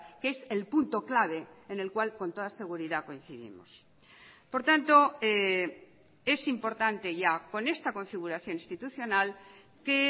que es el punto clave en el cual con toda seguridad coincidimos por tanto es importante ya con esta configuración institucional que